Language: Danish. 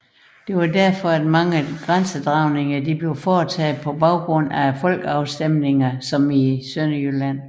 Derfor blev mange grænsedragninger foretaget på baggrund af folkeafstemninger som i Sønderjylland